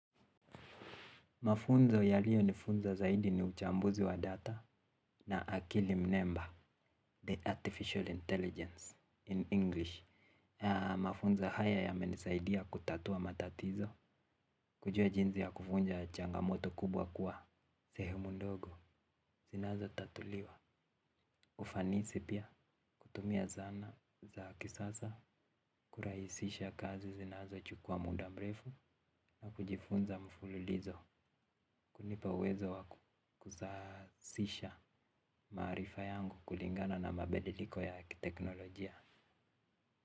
Mafunzo yaliyo nifunza zaidi ni uchambuzi wa data na akili mnemba, the artificial intelligence, in English. Ya mafunzo haya yamenisaidia kutatua matatizo, kujua jinzi ya kuvunja changamoto kubwa kuwa, sehumu ndogo, zinazo tatuliwa. Ufanisi pia kutumia zana za kisasa kuraisisha kazi zinazo chukua muda mrefu na kujifunza mfululizo kunipa uwezo wa kuzasisha maarifa yangu kulingana na mabediliko ya teknolojia.